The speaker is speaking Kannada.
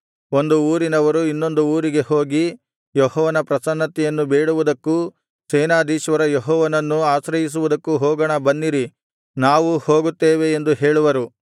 ಒಂದು ಊರಿನವರು ಇನ್ನೊಂದು ಊರಿಗೆ ಹೋಗಿ ಯೆಹೋವನ ಪ್ರಸನ್ನತೆಯನ್ನು ಬೇಡುವುದಕ್ಕೂ ಸೇನಾಧೀಶ್ವರ ಯೆಹೋವನನ್ನು ಆಶ್ರಯಿಸುವುದಕ್ಕೂ ಹೋಗೋಣ ಬನ್ನಿರಿ ನಾವೂ ಹೋಗುತ್ತೇವೆ ಎಂದು ಹೇಳುವರು